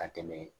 Ka tɛmɛ